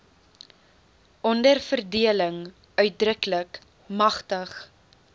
onderverdeling uitdruklik magtig